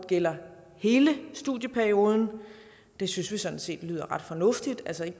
gælde hele studieperioden det synes vi sådan set lyder ret fornuftigt altså at